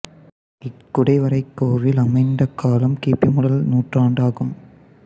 இக்குடை வரை கோவில் அமைந்த காலம் கி பி முதல் நூற்றாண்டு ஆகும்